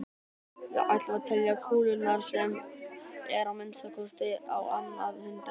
Við ætlum að telja kúlurnar sem eru að minnsta kosti á annað hundrað.